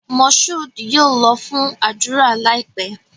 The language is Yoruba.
Moshood yóò lọ fún ádùrá láìpé